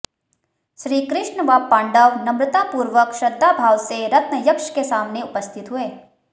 श्रीकृष्ण व पांडव नम्रतापूर्वक श्रद्धा भाव से रत्नयक्ष के सामने उपस्थित हुए